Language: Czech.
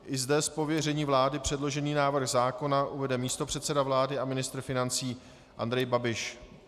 I zde z pověření vlády předložený návrh zákona uvede místopředseda vlády a ministr financí Andrej Babiš.